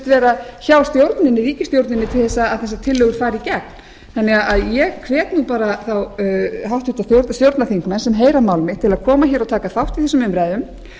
vera hjá ríkisstjórninni til þess að þessar tillögur fari í gegn ég hvet nú bara þá háttvirtur stjórnarþingmenn sem heyra mál mitt til að koma hér og taka þátt í þessum umræðum